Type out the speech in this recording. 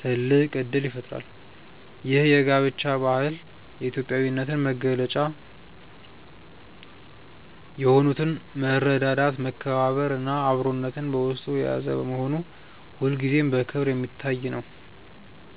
ትልቅ እድል ይፈጥራል። ይህ የጋብቻ ባህል የኢትዮጵያዊነትን መገለጫ የሆኑትን መረዳዳት፣ መከባበር እና አብሮነትን በውስጡ የያዘ በመሆኑ ሁልጊዜም በክብር የሚታይ ነው።